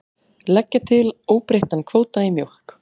Leggja til óbreyttan kvóta í mjólk